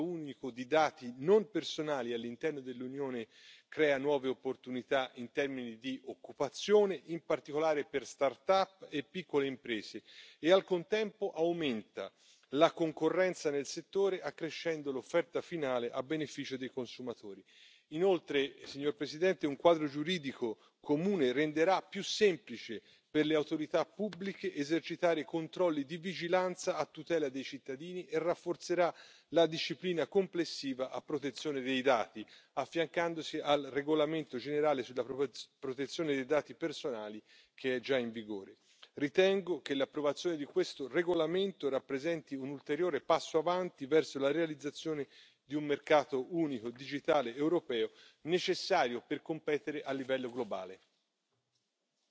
La creazione di uno spazio unico di dati non personali all'interno dell'Unione crea nuove opportunità in termini di occupazione, in particolare per start up e piccole imprese e, al contempo, aumenta la concorrenza nel settore, accrescendo l'offerta finale a beneficio dei consumatori. Inoltre, signor Presidente, un quadro giuridico comune renderà più semplice per le autorità pubbliche esercitare controlli di vigilanza a tutela dei cittadini e rafforzerà la disciplina complessiva a protezione dei dati, affiancandosi al regolamento generale sulla protezione dei dati personali, che è già in vigore. Ritengo che l'approvazione di questo regolamento rappresenti un ulteriore passo avanti verso la realizzazione di un mercato unico digitale europeo, necessario per competere a livello globale.